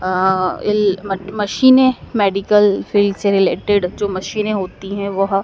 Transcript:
अं येल मट मशीनें मेडिकल फील्ड से रिलेटेड जो मशीने होती है वह--